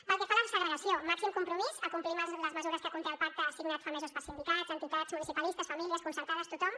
pel que fa a la segregació màxim compromís a complir amb les mesures que conté el pacte signat fa mesos per sindicats entitats municipalistes famílies concertades tothom